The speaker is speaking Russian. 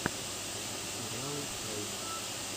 сериал флэйм